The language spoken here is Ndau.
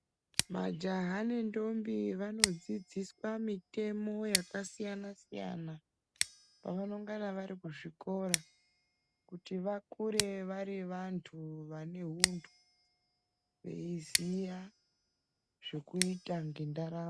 Majaha nentombi vanodzidziswa mitemo yakasiyana siyana pavanengane vari kuzvikora kuti vakure vari vantu vane huntu veiziya zvekuita ngendaramo.